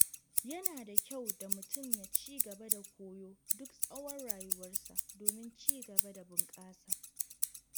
Yana da kyau mutum ya ci gaba da koyo duk tsawon rayuwarsa domin cigaba da bunƙasa.